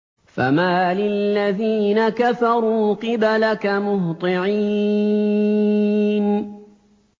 فَمَالِ الَّذِينَ كَفَرُوا قِبَلَكَ مُهْطِعِينَ